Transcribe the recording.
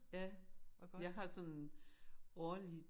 Ja jeg har sådan en årlig